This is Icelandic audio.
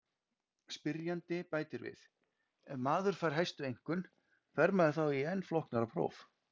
Spyrjandi bætir við: Ef maður fær hæstu einkunn, fer maður þá í enn flóknara próf?